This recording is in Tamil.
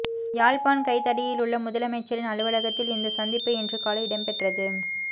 யாழ்ப்பாண் கைதடியிலுள்ள முதலமைச்சரின் அலுவலகத்தில் இந்த சந்திப்பு இன்று காலை இடம்பெற்றது